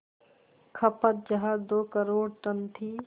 खपत जहां दो करोड़ टन थी